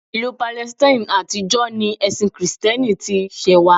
Ìlú Palestine àtijọ́ ni ẹ̀sin kìrìtẹ́nì ti ṣẹ̀wá